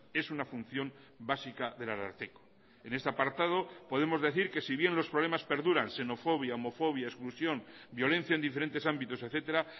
es una función básica del ararteko en este apartado podemos decir que si bien los problemas perduran xenofobia homofobia exclusión violencia en diferentes ámbitos etcétera